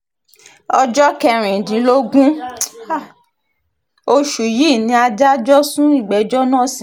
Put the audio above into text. ọjọ́ kẹrìndínlógún oṣù yìí ni adájọ́ sún ìgbẹ́jọ́ náà sí